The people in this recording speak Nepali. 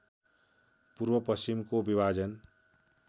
पूर्व पश्चिमको विभाजन